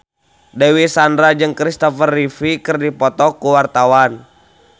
Dewi Sandra jeung Kristopher Reeve keur dipoto ku wartawan